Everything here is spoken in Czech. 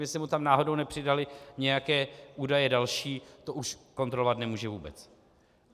Jestli mu tam náhodou nepřidaly nějaké údaje další, to už kontrolovat nemůže vůbec.